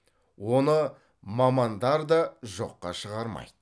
оны мамандар да жоққа шығармайды